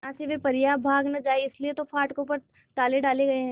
यहां से वे परियां भाग न जाएं इसलिए तो फाटकों पर ताले डाले गए हैं